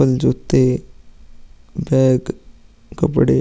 चप्पल जूते बैग कपड़े --